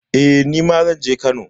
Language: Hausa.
Eh, nima zan je Kano.